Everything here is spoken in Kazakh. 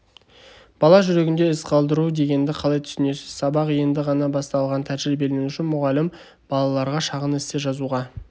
бала жүрегінде із қалдыру дегенді қалай түсінесіз сабақ енді ғана басталған тәжірибеленуші-мұғалім балаларға шағын эссе жазуға